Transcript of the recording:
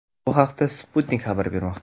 Bu haqda Sputnik xabar bermoqda .